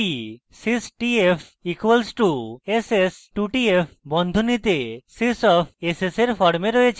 এটি sys tf equal two ss 2 tf বন্ধনীতে sys tf ss এর form রয়েছে